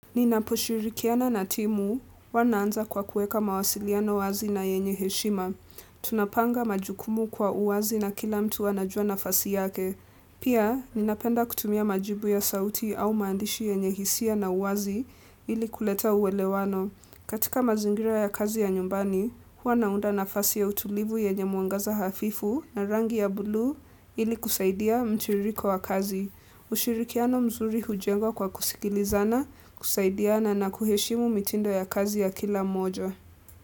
Ninaposhirikiana na timu huwa naanza kwa kuweka mawasiliano wazi na yenye heshima. Tunapanga majukumu kwa uwazi na kila mtu anajua nafasi yake. Pia, ninapenda kutumia majibu ya sauti au maandishi yenye hisia na uwazi ili kuleta uwelewano. Katika mazingira ya kazi ya nyumbani, huwa naunda nafasi ya utulivu yenye muangaza hafifu na rangi ya bulu ili kusaidia mtiririko wa kazi. Ushirikiano mzuri hujengwa kwa kusikilizana, kusaidiana na kuheshimu mitindo ya kazi ya kila moja.